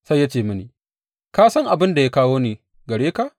Sai ya ce mini, Ka san abin da ya kawo ni gare ka?